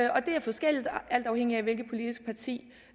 og det er forskelligt alt afhængigt af hvilket politisk parti